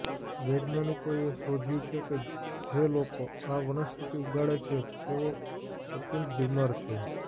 વૈજ્ઞાનિકોએ શોધ્યું છે કે જે લોકો આ વનસ્પતિ ઉગાડે છે તેઓ અત્યંત બીમાર છે